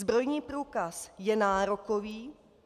Zbrojní průkaz je nárokový.